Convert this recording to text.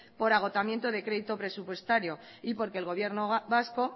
por agotamiento de crédito presupuestario y porque el gobierno vasco